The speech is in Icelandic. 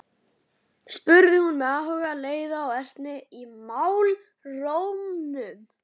spurði hún með áhuga, leiða og ertni í málrómnum.